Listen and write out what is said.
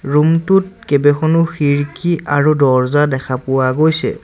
ৰুমটোত কেইবেখনো খিৰিকী আৰু দৰ্জা দেখা পোৱা গৈছে।